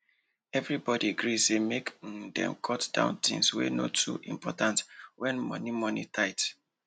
everybody gree say make um dem cut down things wey no too important when money money tight